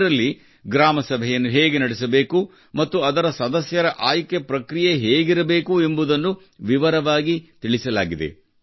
ದರಲ್ಲಿ ಗ್ರಾಮ ಸಭೆಯನ್ನು ಹೇಗೆ ನಡೆಸಬೇಕು ಮತ್ತು ಅದರ ಸದಸ್ಯರ ಆಯ್ಕೆ ಪ್ರಕ್ರಿಯೆ ಹೇಗಿರಬೇಕು ಎಂಬುದನ್ನು ವಿವರವಾಗಿ ವಿವರಿಸಲಾಗಿದೆ